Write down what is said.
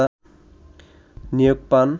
নিয়োগ পান